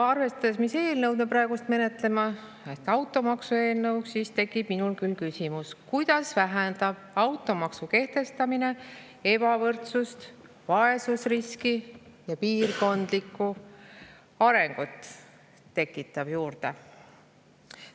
Arvestades, mis eelnõu me praegu menetleme ehk automaksu eelnõu, tekib minul küll küsimus, kuidas vähendab automaksu kehtestamine ebavõrdsust, vaesusriski ja piirkondlikku arengut tekitab juurde.